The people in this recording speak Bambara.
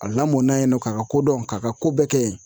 A lamɔna yen nɔ k'a ka kodɔn k'a ka ko bɛɛ kɛ yen